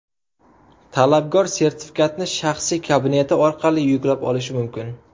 Talabgor sertifikatni shaxsiy kabineti orqali yuklab olishi mumkin.